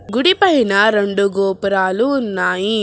గుడి పైన రెండు గోపురాలు ఉన్నాయి.